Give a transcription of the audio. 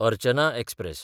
Archana express